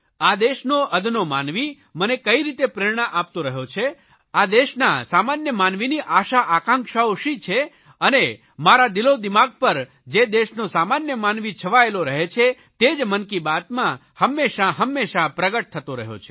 આ દેશનો અદનો માનવી મને કઇ રીતે પ્રેરણા આપતો રહ્યો છે આ દેશના સામાન્ય માનવીની આશાઆકાંક્ષાઓ શી છે અને મારા દિલોદિમાગ પર જે દેશનો સામાન્ય માનવી છવાયેલો રહે છે તે જ મન કી બાતમાં હંમેશા હંમેશા પ્રગટ થતો રહ્યો છે